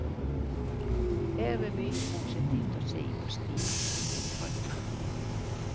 Her er mye positivt å si på stil og innhold.